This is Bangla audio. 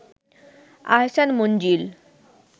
আহসান মঞ্জিল